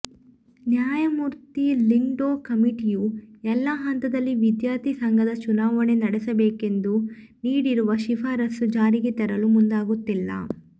ನ್ಯಾಯಮೂರ್ತಿ ಲಿಂಗ್ಡೋ ಕಮಿಟಿಯು ಎಲ್ಲ ಹಂತದಲ್ಲಿ ವಿದ್ಯಾರ್ಥಿ ಸಂಘದ ಚುನಾವಣೆ ನಡೆಸಬೇಕೆಂದು ನೀಡಿರುವ ಶಿಫಾರಸ್ಸು ಜಾರಿಗೆ ತರಲು ಮುಂದಾಗುತ್ತಿಲ್ಲ